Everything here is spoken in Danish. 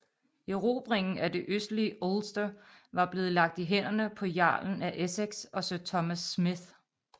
Erobringen af det østlige Ulster var blevet lagt i hænderne på jarlen af Essex og Sir Thomas Smith